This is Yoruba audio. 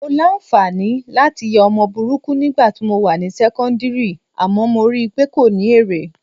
Mo láǹfààní láti ya ọmọ burúkú nígbà tí mo wà ní sẹ́kọ́ńdìrì àmọ́ mo rí i pé kò ní èrè